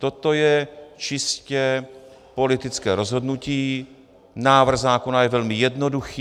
Toto je čistě politické rozhodnutí, návrh zákona je velmi jednoduchý.